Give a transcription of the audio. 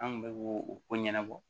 An kun bɛ ko o ko ɲɛnabɔ